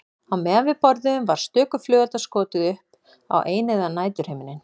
Á meðan við borðuðum var stöku flugeldi skotið upp á eineygðan næturhimininn.